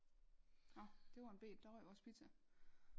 Nå det var en bet der røg vores pizza